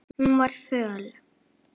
Hún var föl.